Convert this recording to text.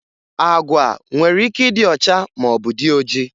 Agwa nwere ike ịdị ọcha maọbụ dị oji